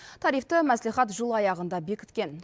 тарифті мәслихат жыл аяғында бекіткен